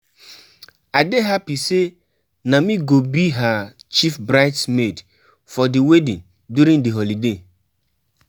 I dey happy say na me go be her Chief bride's maid for the wedding during the holiday